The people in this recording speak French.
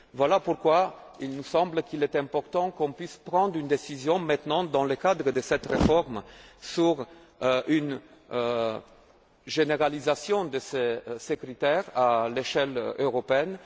Voilà pourquoi il nous semble qu'il est important de pouvoir prendre une décision dès maintenant dans le cadre de cette réforme sur une généralisation de ces critères à l'échelle européenne.